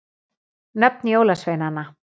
Nöfn jólasveinanna.